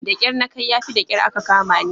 Da kyar na kai yafi da kyar aka kamani.